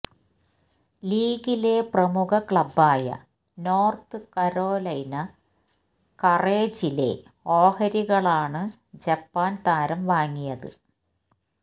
ലീഗിലെ പ്രമുഖ ക്ലബ്ബായ നോര്ത്ത് കരോലൈന കറേജിലെ ഓഹരികളാണ് ജപ്പാന് താരം വാങ്ങിയത്